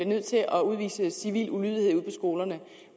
nødt til at udvise civil ulydighed ude på skolerne